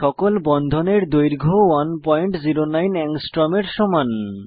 সকল বন্ধনের দৈর্ঘ্য 109 এংস্ট্ম এর সমান